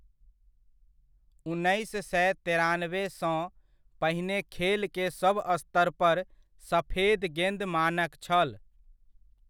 उन्नैस सँ तेरानबे सँ पहिने खेल के सब स्तर पर सफेद गेन्द मानक छल।